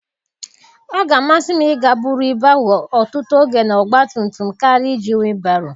Ọ ga-amasị m ịga buru ibu ahụ ọtụtụ oge na ọgba tum tum karịa iji whịbaroo